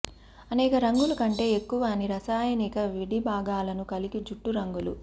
అనేక రంగులు కంటే ఎక్కువ అని రసాయనిక విడిభాగాలను కలిగి జుట్టు రంగులు